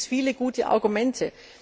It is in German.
Dafür gibt es viele gute Argumente.